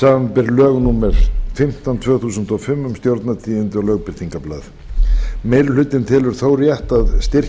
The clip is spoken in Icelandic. samanber lög númer fimmtán tvö þúsund og fimm um stjórnartíðindi og lögbirtingablað meiri hlutinn telur þó rétt að styrkja